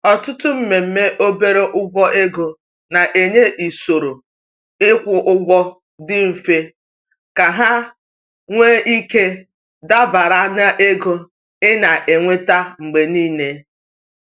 Ọtụtụ mmemme obere ụgwọ ego na-enye usoro ịkwụ ụgwọ dị mfe ka ha nwee ike dabara na ego ị na-enweta mgbe niile.